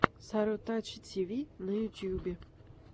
сарутачи тиви на ютубе